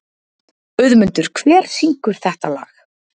Auðmundur, hver syngur þetta lag?